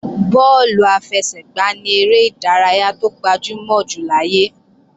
Bọ́ọ̀lù àfẹsẹ̀gbá ni eré ìdárayá tó gbajúmọ̀ jù láyé